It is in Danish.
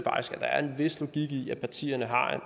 der er en vis logik i at partierne har